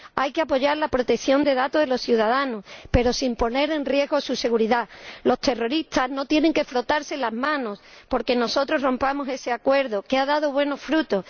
Hay que apoyar la protección de los datos de los ciudadanos, pero sin poner en riesgo su seguridad. Los terroristas no tienen que frotarse las manos porque nosotros rompamos ese acuerdo que ha dado buenos frutos.